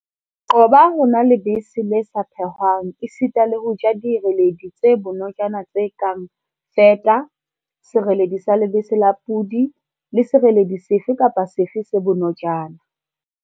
Qoba ho nwa lebese le sa phehwang esita le ho ja direledi tse bonojana tse kang feta, sereledi sa lebese la podi le sereledi sefe kapa sefe se bonojana5.